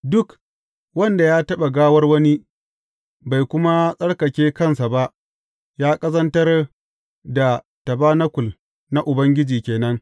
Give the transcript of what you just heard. Duk wanda ya taɓa gawar wani, bai kuma tsarkake kansa ba, ya ƙazantar da tabanakul na Ubangiji ke nan.